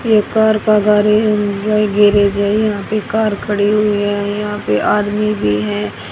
ये कार का garage bike garage है यहा पे कार खड़ी हुई है यहा पे आदमी भी हैं।